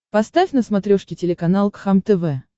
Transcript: поставь на смотрешке телеканал кхлм тв